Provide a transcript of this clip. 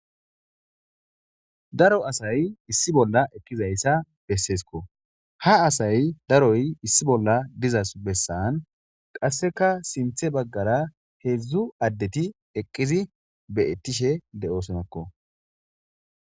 Daro asay issi bola eqidaysa besesko ha asay daroy issi bola diza besan qaseka sinte bagara hedzu adeti eqizi betishe de'osonako.